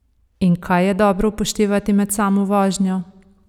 In kaj je dobro upoštevati med samo vožnjo?